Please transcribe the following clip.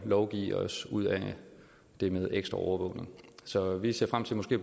lovgive os ud af det med ekstra overvågning så vi ser frem til måske